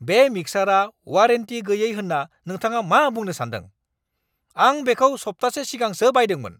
बे मिक्सारा वारेन्टि गैयै होन्ना नोंथाङा मा बुंनो सान्दों? आं बेखौ सप्तासे सिगांसो बायदोंमोन!